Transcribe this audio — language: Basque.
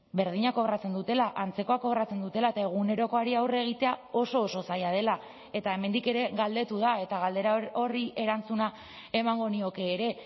berdina kobratzen dutela antzekoa kobratzen dutela eta egunerokoari aurre egitea oso oso zaila dela eta hemendik ere galdetu da eta galdera horri erantzuna emango nioke ere